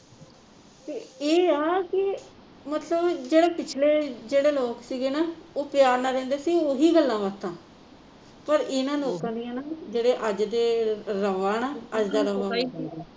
ਤੇ ਇਹ ਆ ਕਿ ਮਤਲਬ ਜਿਹੜੇ ਪਿਛਲੇ ਜਿਹੜੇ ਲੋਕ ਸੀਗੇ ਨਾ ਉਹ ਪਿਆਰ ਨਾਲ ਰਹਿੰਦੇ ਸੀ ਓਹੀ ਗੱਲਾਂ ਬਾਤਾਂ ਪਰ ਇਹਨਾਂ ਲੋਕਾਂ ਦੀਆਂ ਨਾ ਜਿਹੜੇ ਅੱਜ ਦੇ ਰਵਾ ਨਾ ਅੱਜ ਦਾ ਰਵਾ